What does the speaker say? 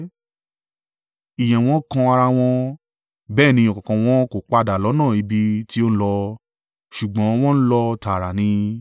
ìyẹ́ wọn kan ara wọn. Bẹ́ẹ̀ ní ọ̀kọ̀ọ̀kan wọn kò padà lọ́nà ibi tí ó ń lọ; ṣùgbọ́n wọ́n ń lọ tààrà ni.